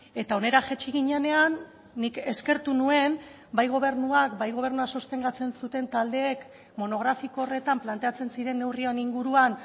eta hona jaitsi ginenean nik eskertu nuen bai gobernuak bai gobernua sostengatzen zuten taldeek monografiko horretan planteatzen ziren neurrien inguruan